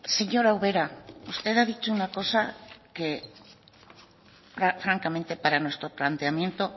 señora ubera usted ha dicho una cosa que francamente para nuestro planteamiento